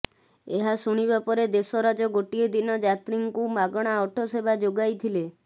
ଏହା ଶୁଣିବା ପରେ ଦେଶରାଜ ଗୋଟିଏ ଦିନ ଯାତ୍ରୀଙ୍କୁ ମାଗଣା ଅଟୋ ସେବା ଯୋଗଇଥିଲେ